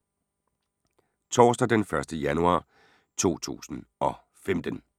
Torsdag d. 1. januar 2015